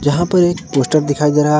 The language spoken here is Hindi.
जहां पर एक पोस्टर दिखाई दे रहा है।